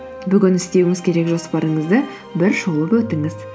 бүгін істеуіңіз керек жоспарыңызды бір шолып өтіңіз